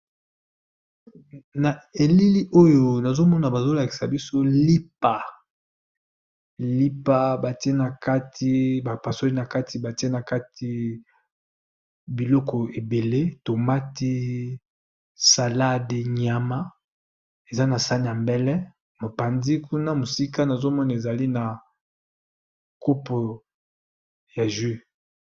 Na elili oyo nazo mona bazol akisa biso lipa. Lipa ba tié na kati ba pasoli na kati ba tié na kati biloko ébélé, tomate, salade, nyama eza na sani ya mbele . Mopanzi kuna mosika, nazomona ezali na kopo ya jus.